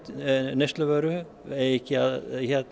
neysluvöru eigi ekki að